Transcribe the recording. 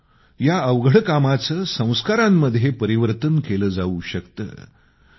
परंतु या अवघड कामाचे संस्कारामध्ये परिवर्तन केले जाऊ शकते